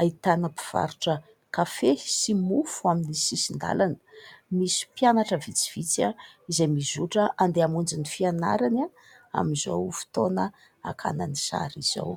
Ahitana mpivarotra kafe sy mofo amin'ny sisin-dàlana. Misy mpianatra vitsivitsy izay mizotra andeha hamonjy ny fianarany amin'izao fotoana hakana ny sary izao.